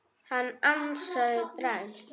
Hann ansaði dræmt.